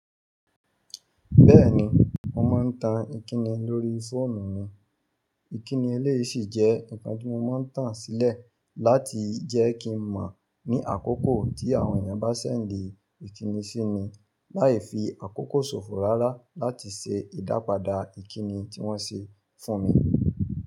Bẹ́ẹ̀ni, mo máa ń tan ìkíni lórí fóònù mi. Ìkíni eléyìí sì jẹ́ nǹkan tí mo máa ń tàn sílẹ̀ láti jẹ́ kí n mọ̀ ní àkókò tí àwọn èèyàn bá ṣẹ̀ndi ìkíni sí mi, láì fi àkókò ṣòfò rárá láti ṣe ìdápadà ìkíni tí wọ́n ṣe fún mi.